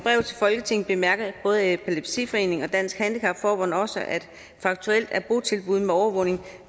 folketinget bemærker både epilepsiforeningen og dansk handicap forbund også faktuelt er botilbud med overvågning